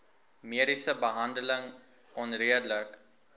mediese behandeling onredelik